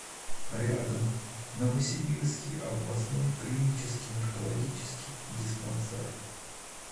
рядом новосибирский областной клинический наркологический диспансер